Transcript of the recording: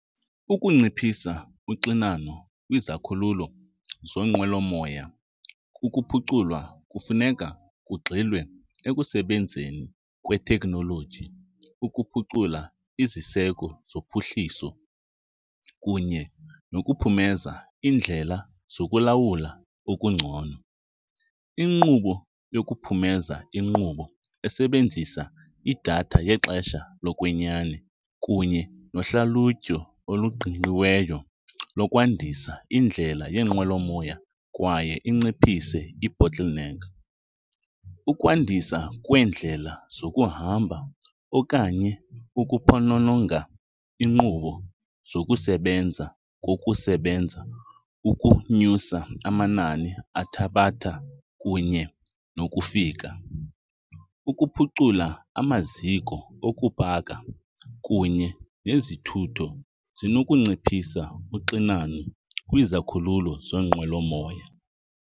Ukunciphisa uxinano kwizikhululo zeenqwelomoya kukuphuculwa kufuneka kugxilwe ekusebenzeni kweteknoloji ukuphucula iziseko zophuhliso kunye nokuphumeza iindlela zokulawula okungcono. Inkqubo yokuphumeza inkqubo esebenzisa idatha yexesha lokwenyani kunye nohlalutyo oluqingqiweyo lokwandisa iindlela yeenqwelomoya kwaye inciphise i-bottleneck. Ukwandiswa kweendlela zokuhamba okanye ukuphonononga iinkqubo zokusebenza kokusebenza ukunyusa amanani athabatha kunye nokufika. Ukuphucula amaziko okubhaka kunye nezithutho zinokunciphisa uxinano kwizikhululo zeenqwelomoya.